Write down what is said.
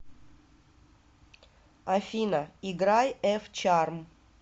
афина играй эф чарм